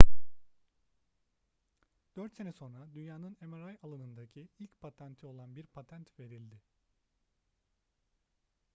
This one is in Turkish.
4 sene sonra dünyanın mri alanındaki ilk patenti olan bir patent verildi